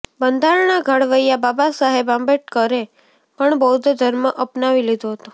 બંધારણના ઘડવૈયા બાબાસાહેબ આંબેડકરે પણ બૌદ્ધ ધર્મ અપનાવી લીધો હતો